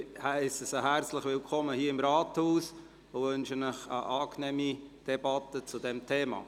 Ich heisse Sie hier im Rathaus herzlich willkommen und wünsche Ihnen eine angenehme Debatte zum Thema.